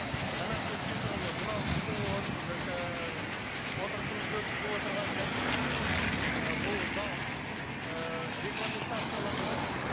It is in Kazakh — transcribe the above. қанат ескендірұлы мынау біздің отырысымызды өткізіп отырған кабинет ы бұл зал ііі регламентацияланған